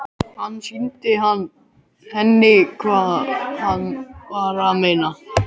Hann sýndi henni hvað hann var að meina.